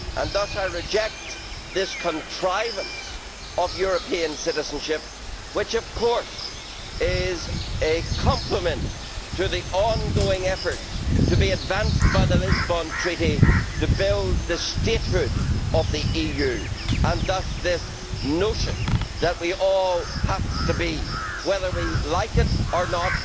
Thus I reject this contrivance of European citizenship, which of course is a complement to the ongoing efforts to be advanced by the Lisbon Treaty to build the statehood of the EU and thus this notion that we all have to be, whether we like it or not,